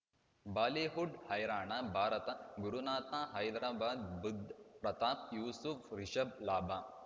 Bollywood ಹೈರಾಣ ಭಾರತ ಗುರುನಾಥ ಹೈದರಾಬಾದ್ ಬುಧ್ ಪ್ರತಾಪ್ ಯೂಸುಫ್ ರಿಷಬ್ ಲಾಭ